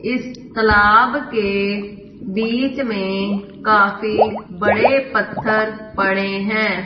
इस तालाब के बीच में काफी बड़े पत्थर पड़े हैं।